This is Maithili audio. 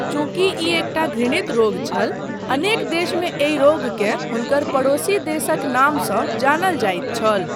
चूँकि ई एकटा घृणित रोग छल, अनेक देशमे एहि रोगकेँ हुनकर पड़ोसी देशक नामसँ जानल जाइत छल।